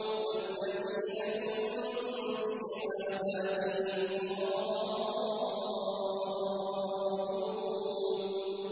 وَالَّذِينَ هُم بِشَهَادَاتِهِمْ قَائِمُونَ